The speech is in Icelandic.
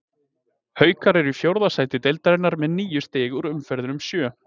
Haukar eru í fjórða sæti deildarinnar með níu stig úr umferðunum sjö.